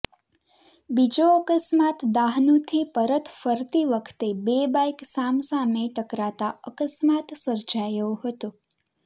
બીજો અકસ્માત દાહનુથી પરત ફરતી વખતે બે બાઈક સામ સામે ટકરાતા અકસ્માત સર્જાયો હતો